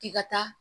K'i ka taa